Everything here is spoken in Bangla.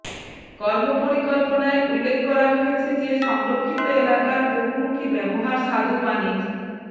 কর্মপরিকল্পনায় উল্লেখ করা হয়েছে যে সংরক্ষিত এলাকার বহুমুখী ব্যবহার স্বাদুপানির